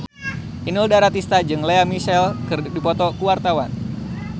Inul Daratista jeung Lea Michele keur dipoto ku wartawan